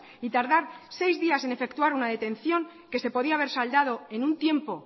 y tardar seis días en efectuar una detención que se podía haber saldado en un tiempo